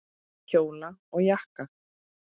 Kjóla og jakka.